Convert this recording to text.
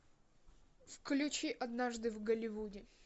включи однажды в голливуде